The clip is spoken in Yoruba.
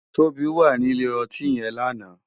Tobi wá ni ilé òtín yèn làná